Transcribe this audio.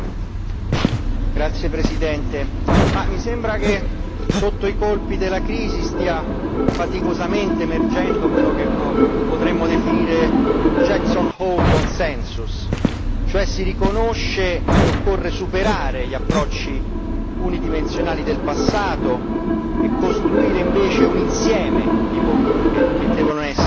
Signor Presidente, onorevoli colleghi, mi sembra che sotto i colpi della crisi stia faticosamente emergendo quello che potremmo definire un Jackson Hole Consensus, cioè si riconosce che occorre superare gli approcci unidimensionali del passato e costruire invece un insieme di politiche che devono essere